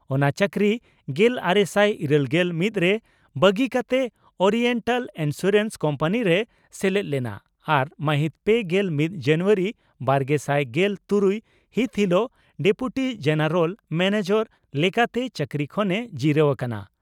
ᱚᱱᱟ ᱪᱟᱹᱠᱨᱤ ᱜᱮᱞᱟᱨᱮᱥᱟᱭ ᱤᱨᱟᱹᱞᱜᱮᱞ ᱢᱤᱛ ᱨᱮ ᱵᱟᱹᱜᱤ ᱠᱟᱛᱮ ᱳᱨᱤᱭᱮᱱᱴᱟᱞ ᱤᱱᱥᱩᱨᱮᱱᱥ ᱠᱳᱢᱯᱟᱱᱤ ᱨᱮᱭ ᱥᱮᱞᱮᱫ ᱞᱮᱱᱟ ᱟᱨ ᱢᱟᱦᱤᱛ ᱯᱮᱜᱮᱞ ᱢᱤᱛ ᱡᱟᱱᱩᱣᱟᱨᱤ ᱵᱟᱨᱜᱮᱥᱟᱭ ᱜᱮᱞ ᱛᱩᱨᱩᱭ ᱹ ᱦᱤᱛ ᱦᱤᱞᱚᱜ ᱰᱮᱯᱩᱴᱤ ᱡᱮᱱᱮᱨᱟᱞ ᱢᱮᱱᱮᱡᱟᱨ ᱞᱮᱠᱟᱛᱮ ᱪᱟᱹᱠᱨᱤ ᱠᱷᱚᱱᱮ ᱡᱤᱨᱟᱹᱣ ᱟᱠᱟᱱᱟ ᱾